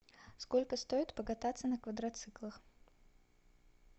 сколько стоит покататься на квадроциклах